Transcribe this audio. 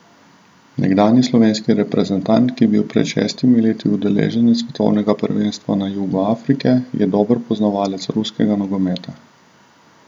Nekdanji slovenski reprezentant, ki je bil pred šestimi leti udeleženec svetovnega prvenstva na jugu Afrike, je dober poznavalec ruskega nogometa.